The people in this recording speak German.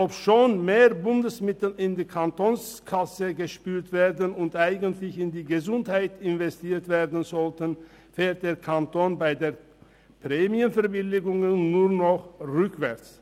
Obschon mehr Bundesmittel in die Kantonskasse gespült werden und eigentlich in die Gesundheit investiert werden sollten, fährt der Kanton bei den Prämienverbilligungen nur noch rückwärts.